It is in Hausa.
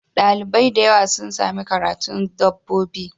Dalibai dayawa sun Sami karanun dabbobi